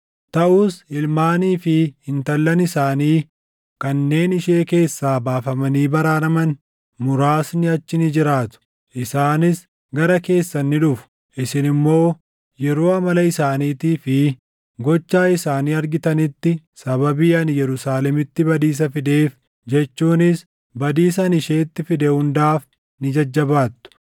Taʼus ilmaanii fi intallan isaanii kanneen ishee keessaa baafamanii baraaraman muraasni achi ni jiraatu. Isaanis gara keessan ni dhufu; isin immoo yeroo amala isaaniitii fi gocha isaanii argitanitti sababii ani Yerusaalemitti badiisa fideef jechuunis badiisa ani isheetti fide hundaaf ni jajjabaattu.